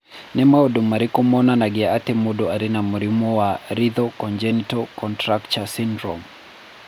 Nĩ maũndũ marĩkũ monanagia atĩ mũndũ arĩ na mũrimũ wa Lethal congenital contracture syndrome?